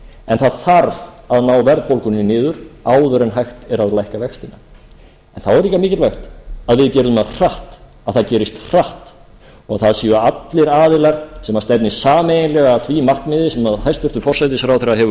en það þarf að ná verðbólgunni niður áður en hægt er að lækka vextina en þá er líka mikilvægt að það gerist hratt og það séu allir aðilar sem stefni sameiginlega að því markmiði sem hæstvirtur forsætisráðherra hefur